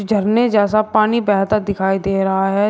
झरने जैसा पानी बेहता दिखाई दे रहा है।